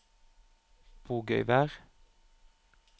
Bogøyvær